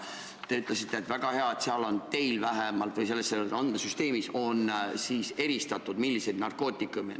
Te ütlesite, et on väga hea, et teil või vähemalt selles andmesüsteemis on eristatud, milliseid narkootikume on tarvitatud.